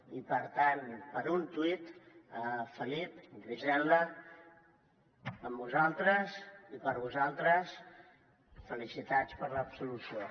i per tant per un tuit felip griselda amb vosaltres i per vosaltres felicitats per l’absolució